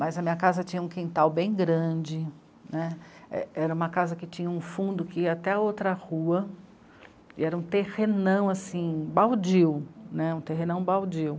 Mas a minha casa tinha um quintal bem grande né, era uma casa que tinha um fundo que ia até outra rua, e era um terrenão, assim, baldio, um terrenão baldio.